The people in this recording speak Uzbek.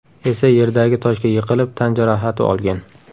esa yerdagi toshga yiqilib tan jarohati olgan.